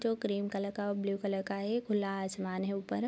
जो cream colour का और ब्लू कलर का है खुला आसमान है ऊपर ।